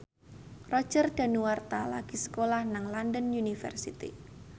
Roger Danuarta lagi sekolah nang London University